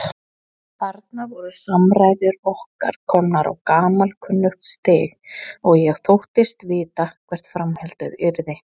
Þarna voru samræður okkar komnar á gamalkunnugt stig og ég þóttist vita hvert framhaldið yrði.